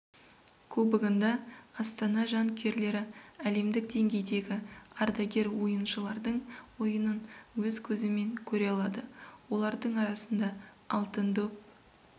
кубогында астана жанкүйерлері әлемдік деңгейдегі ардагер ойыншылардың ойынын өз көзімен көре алады олардың арасында алтын доп